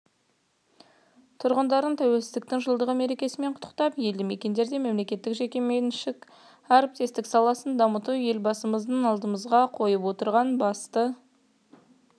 тұрғындарын тәуелсіздіктің жылдығы мерекесімен құттықтап елдімекендерде мемлекеттік-жекеменшік әріптестік саласын дамыту елбасымыздың алдымызға қойып отырған басты